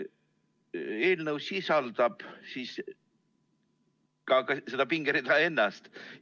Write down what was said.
Eelnõu sisaldab ka seda pingerida ennast.